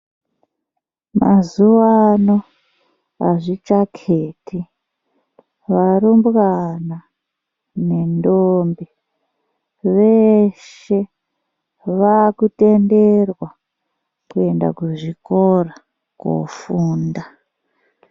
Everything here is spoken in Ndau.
Mazuwaano azvichaketi varumbwana nendombi veshe vakutenderwa kuenda kuzvikora kofunda.